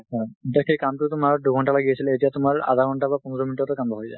হা। এতিয়া সেই কামটো তোমাৰ দুঘণ্টা লাগি আছিলে, এতিয়া তোমাৰ আধা ঘণ্টা বা পন্ধৰ minute অত হৈ যাই।